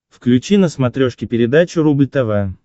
включи на смотрешке передачу рубль тв